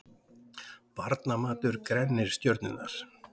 Barnamatur grennir stjörnurnar